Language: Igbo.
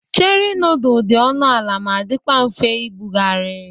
Cheri nudulu dị ọnụ ala ma dikwa mfe ibugharị.